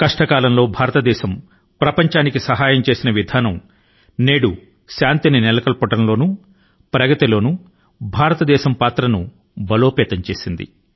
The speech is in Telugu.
క్లిష్ట సమయాల లో భారతదేశం ప్రపంచాని కి సహాయం అందించిన విధానం శాంతి మరియు అభివృద్ధి లో భారతదేశం యొక్క పాత్ర ను మరింత బలపరిచింది